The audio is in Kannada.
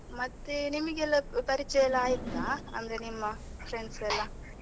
ಮತ್ತೆ ನಿಮಗೆಲ್ಲ ಪರಿಚಯ ಎಲ್ಲ ಆಯ್ತಾ, ಅಂದ್ರೆ ನಿಮ್ಮ friends ಎಲ್ಲಾ ?